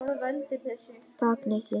Takk, Nikki